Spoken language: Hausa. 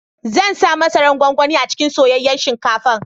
Zan sa masaran gwangwani a cikin soyayyan shinkafan.